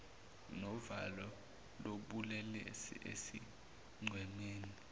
novalo lobulelesi esigcemeni